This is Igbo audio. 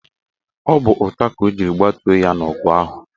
Ọ bụ ụta ka ọ jiri gbatuo ya n' ọgụ ahụ.